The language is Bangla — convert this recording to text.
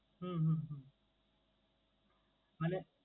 হম হম হম মানে